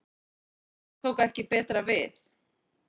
Þar tók ekki betra við